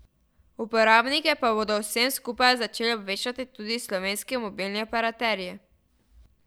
Uporabnike pa bodo o vsem skupaj začeli obveščati tudi slovenski mobilni operaterji.